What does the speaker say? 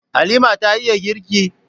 Halima ta iya girki?